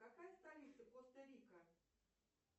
какая столица коста рика